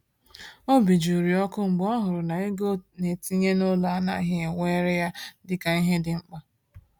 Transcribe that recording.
Obi jụrụ ya ọkụ mgbe ọ hụrụ na ego ọ na-etinye n’ụlọ anaghị ewere ya dịka ihe dị mkpa.